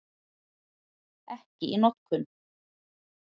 Ekki í notkun.